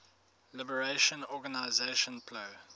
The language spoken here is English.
liberation organization plo